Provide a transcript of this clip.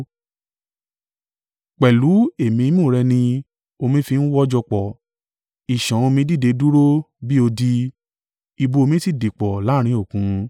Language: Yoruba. Pẹ̀lú èémí imú rẹ ni omi fi ń wọ́jọ pọ̀. Ìṣàn omi dìde dúró bí odi; ibú omi sì dìpọ̀ láàrín Òkun.